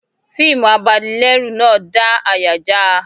Fiimu abanilẹ́rù náà dá àyà já a